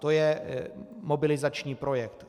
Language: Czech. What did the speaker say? To je mobilizační projekt.